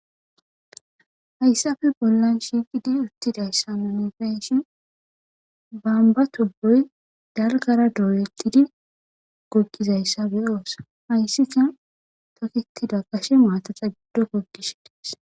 Hayssape bollan shiiqidi uttidayssa nuni be'ishin babba tubboy dalggara doyetidi goggizayssa be'oos hayssika toketida gashe maataza giddon goggishe de'es.